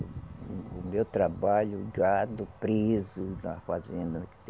O meu trabalho, o gado preso na fazenda.